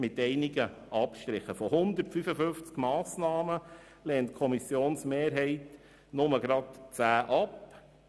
Von 155 Massnahmen lehnt die Kommissionsmehrheit nur gerade 10 Massnahmen ab.